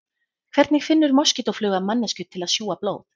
Hvernig finnur moskítófluga manneskju til að sjúga blóð?